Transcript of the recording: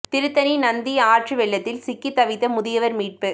திருத்தணி நந்தி ஆற்று வெள்ளத்தில் சிக்கித் தவித்த முதியவா் மீட்பு